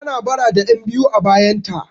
Tana bara da 'yanbiyu a bayanta.